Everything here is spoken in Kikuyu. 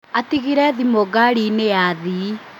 Atigire thimũ ngari-inĩ ya athii